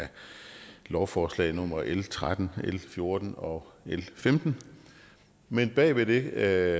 af lovforslag nummer l tretten l fjorten og l femten men bagved det